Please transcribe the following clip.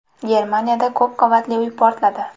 Germaniyada ko‘p qavatli uy portladi.